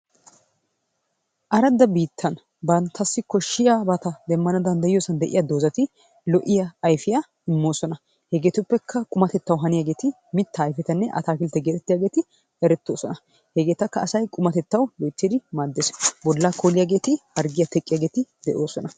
Aradda biittana banttassi koshshiyabata demmana danddayiya dozati lo'iya ayifiya immoosona. Hegeetuppekka qumatettawu haniyageeti mittaa ayifetanna ataakiltte getettiyageeti erettoosona. Hegeetakka asay qumatettawu loyttidi maaddes. Bollaa kooliyageeti harggiya teqqiyageeti de'oosona.